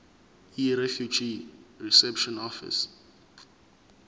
yirefugee reception office